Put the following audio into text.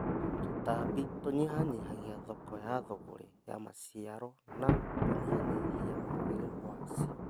Tũtambi tũnyihanyihagia thoko ya thũgũrĩ ya maciaro na kũnyihanyihia wagĩrĩru wacio